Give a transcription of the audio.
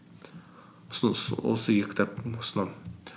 осы екі кітапты ұсынамын